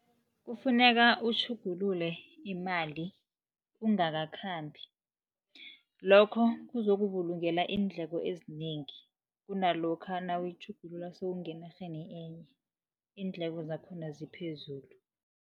Kufuneka utjhugulule imali ungakakhambi. Lokho kuzokubulungela iindleko ezinengi, kunalokha nawuyitjhugulula sewungenarheni enye, iindleko zakhona ziphezulu.